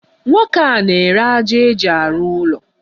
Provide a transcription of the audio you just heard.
Nwoke a n'ere aja eji arụ ụlọ.